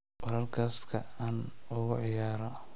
Podcast-ka aan ugu ciyaaro